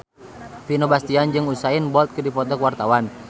Vino Bastian jeung Usain Bolt keur dipoto ku wartawan